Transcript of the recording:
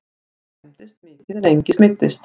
Bíll skemmdist mikið en enginn meiddist